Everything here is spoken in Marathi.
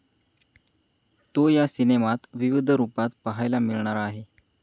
तो या सिनेमात विविध रुपात पाहायला मिळणार आहे.